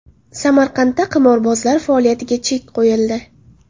Samarqandda qimorbozlar faoliyatiga chek qo‘yildi.